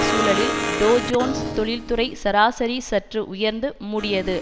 சூழலில் Dow Jones தொழில்துறை சராசரி சற்று உயர்ந்து மூடியது